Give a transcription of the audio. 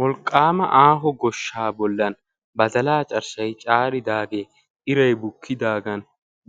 wolqaama aaho goshshan badalaa carshshay caaridaageenne iray bukidaagan